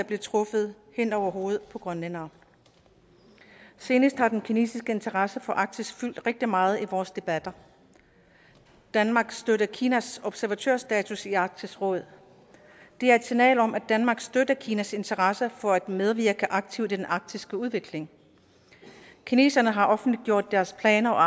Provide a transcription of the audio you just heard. blev truffet hen over hovedet på grønlændere senest har den kinesiske interesse for arktis fyldt rigtig meget i vores debatter danmark støtter kinas observatørstatus i arktisk råd det er et signal om at danmark støtter kinas interesser for at medvirke aktivt i den arktiske udvikling kineserne har offentliggjort deres planer